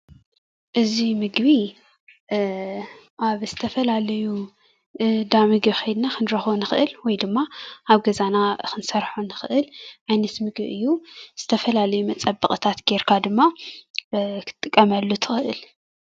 እዚ ምግቢ ኣብ ዝተፈላለዩ እንዳ ምግቢ ከይድና ክንረክቦ ንክእል ወይ ድማ ኣብ ገዛና ክንሰርሖ ንክእል ዓይነት ምግቢ እዩ፡፡ ዝተፈላለዩ መፀበቂታት ገይርካ ድማ ክትጥቀመሉ ትክእል፡፡